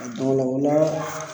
O la